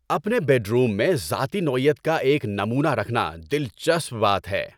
اپنے bedroom میں ذاتی نوعیت کا ایک نمونہ رکھنا دلچسپ بات ہے۔